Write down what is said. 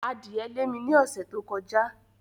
Adìẹ lé mi ní ọ̀sẹ̀ tó kọjá.